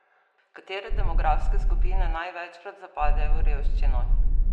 Katere demografske skupine največkrat zapadejo v revščino?